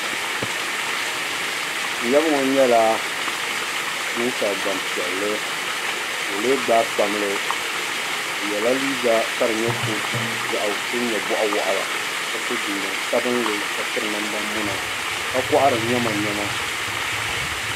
N yaba ŋɔ nyɛla ninsali gbampiɛlli ka o lee gbaai kpamli o yela liiga ka di nyɛ kootu din nyɛ bɔɣu waɣila ka so jinjam sabinli ka piri namdimuna ka kɔhiri nyamanyama.